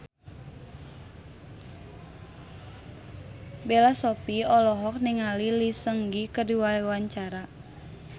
Bella Shofie olohok ningali Lee Seung Gi keur diwawancara